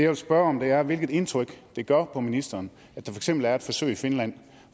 vil spørge om er hvilket indtryk det gør på ministeren at er et forsøg i finland